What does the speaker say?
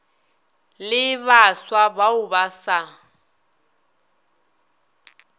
le baswa bao ba sa